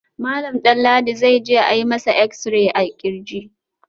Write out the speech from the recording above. Malam Danladi zai je a yi masa exi-ray a kirji